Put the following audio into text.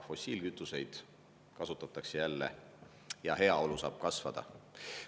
Fossiilkütuseid kasutatakse jälle ja heaolu saab kasvada.